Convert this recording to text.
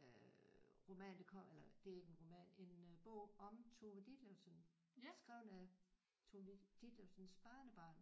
øh øh roman der kom eller det er ikke en roman en øh bog om Tove Ditlevsen skrevet af Tove Ditlevsens barnebarn